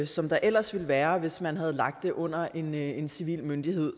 som der ellers ville være hvis man havde lagt det under en en civil myndighed